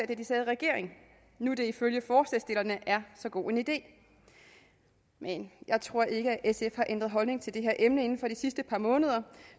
da de sad i regering når det ifølge forslagsstillerne er så god en idé men jeg tror ikke sf har ændret holdning til det her emne inden for det sidste par måneder